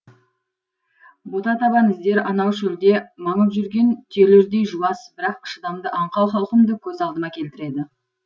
бота табан іздер анау шөлде маңып жүрген түйелердей жуас бірақ шыдамды аңқау халқымды көз алдыма келтіреді